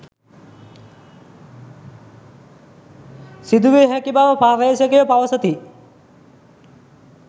සිදුවිය හැකි බව පර්යේෂකයෝ පවසති